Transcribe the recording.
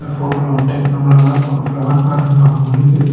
போட்டோலவன்டு நம்மளால ஒரு flower garden பாக்க முடியுது.